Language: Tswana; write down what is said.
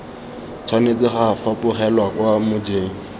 tshwanetse ga fapogelwa kwa mojeng